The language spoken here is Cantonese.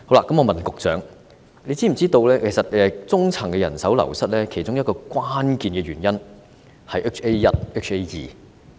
我想問局長是否知悉，中層醫療人手流失的其中一個關鍵原因是 HA1 和 HA2。